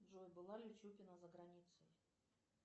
джой была ли чупина за границей